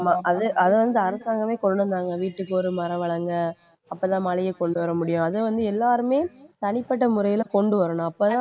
அது அது வந்து அரசாங்கமே கொண்டு வந்தாங்க வீட்டுக்கு ஒரு மரம் வளருங்க அப்பதான் மழையை கொண்டு வர முடியும் அதை வந்து எல்லாருமே தனிப்பட்ட முறையில கொண்டு வரணும் அப்பதான்